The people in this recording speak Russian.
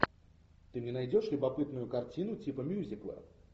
ты мне найдешь любопытную картину типа мюзикла